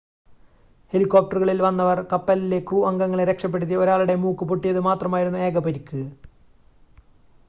ഹെലികോപ്ടറുകളിൽ വന്നവർ കപ്പലിലെ ക്രൂ അംഗങ്ങളെ രക്ഷപ്പെടുത്തി ഒരാളുടെ മൂക്ക് പൊട്ടിയത് മാത്രമായിരുന്നു ഏക പരിക്ക്